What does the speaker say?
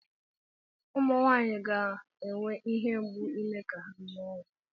Ụmụ Nwaanyị ga na-enwe ihe mgbu ime ka ha mụọ nwa.